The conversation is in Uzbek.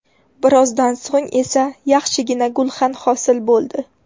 Birozdan so‘ng esa yaxshigina gulxan hosil bo‘ldi.